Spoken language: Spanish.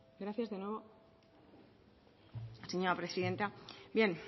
gracias de nuevo señora presidenta bien